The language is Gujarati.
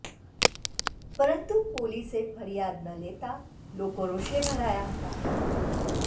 પરંતુ પોલીસ ફરિયાદ ન લેતા લોકો રોષે ભરાયા હતાં